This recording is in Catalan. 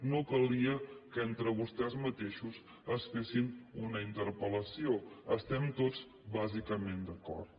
no calia que entre vostès mateixos es fessin una interpel·lació estem tots bàsi·cament d’acord